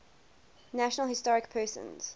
national historic persons